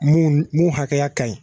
Mun n'u hakɛya ka ɲi.